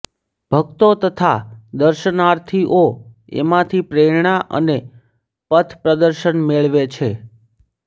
ભક્તો તથા દર્શનાર્થીઓ એમાંથી પ્રેરણા અને પથપ્રદર્શન મેળવે છે